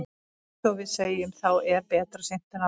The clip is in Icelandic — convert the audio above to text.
Eins og við segjum, þá er betra seint en aldrei.